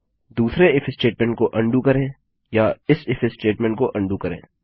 दूसरे if statement को undo करें या इस इफ स्टेटमेंट को उंडो करें